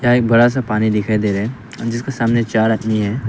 एक बड़ा सा पानी दिखाई दे रहा है जिसके सामने चार आदमी है।